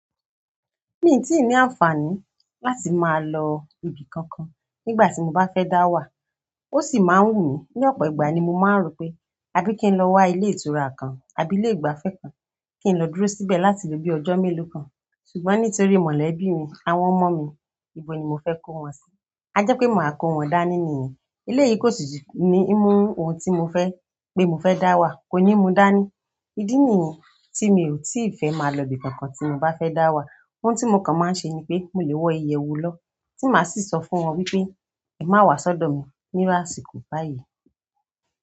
Mi ò tí ì ní àǹfààní láti máa lọ ibi kankan nígbà tí mo bá fẹ́ dáwà, ó sì máa ń wù mí. Ní ọ̀pọ̀ ìgbà ni mo máa ń rò pé, àbí kí n lọ wa ilé ìtura kan àbí ilé ìgbafẹ́ kan, kí n lọ dúró síbẹ̀ láti ló bí ọjọ́ mélòó kan. Ṣùgbọ́n nítorí mọ̀lẹ́bí mi, àwọn ọmọ mi, nibo ni mo fe ko won si. A jẹ́ pé màá kó wọn dání nìyẹn. Eléyìí kó sì jù ní mú ohun tí mo fẹ́ pé mo fẹ́ dáwà, kò ní mu dání. Ídí nìyẹn tí mi ò tíì fẹ́ máa lọ ibi kankan tí mo bá fẹ́ dáwà. Ohun tí mo kàn máa ń ṣe ni pé mo lè wọ iyẹ̀wù lọ tí màá sì sọ fún wọn wípé "è má wá sọ́dọ̀ mi ní áṣìkò báyìí".